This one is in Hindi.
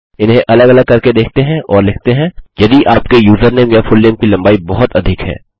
इन्हें अलग अलग करके देखते हैं और और लिखते हैं यदि आपके यूज़रनेम या फुलनेम की लम्बाई बहुत अधिक है